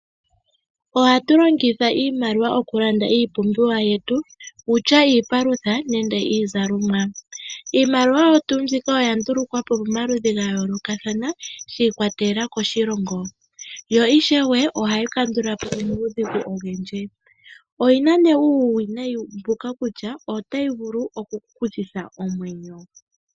Ohatu longitha iimaliwa okulanda iipumbiwa yetu kutya iipalutha nenge iizalomwa, iimaliwa oyo tuu mbika oya ndulukwa po pomaludhi ga yoolokathana shi ikwatelela koshilongo yo ishewe ohayi kanduapo omawudhigu ogendji. Oyi na uuwinayi mbuka kutya otayi vulu oku ku kuthitha omwenyo.